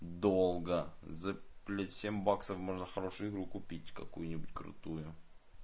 долго за блять семь баксов можно хорошую игру купить какую-нибудь крутую